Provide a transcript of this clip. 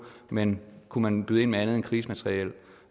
men kunne man byde ind med andet end krigsmateriel